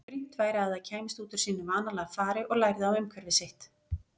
Brýnt væri að það kæmist út úr sínu vanalega fari og lærði á umhverfi sitt.